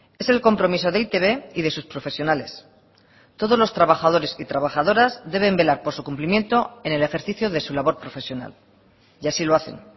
es el compromiso de e i te be y de sus profesionales todos los trabajadores y trabajadoras deben velar por su cumplimiento en el ejercicio de su labor profesional y así lo hacen